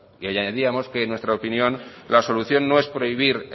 y añadíamos que en nuestra opinión la solución no es prohibir